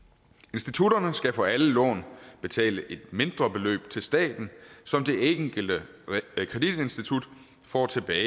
institutterne skal for alle lån betale et mindre beløb til staten som det enkelte kreditinstitut får tilbage